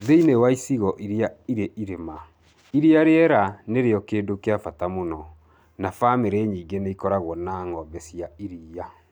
Thĩinĩ wa icigo iria irĩ irĩma, iria rĩerũ nĩrĩo kĩndũ kĩa bata mũno, na bamĩrĩ nyingĩ nĩ ikoragwo na ng'ombe cia iria.